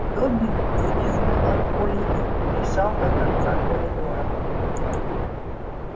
добби взвизгнул от боли и визжал до конца коридора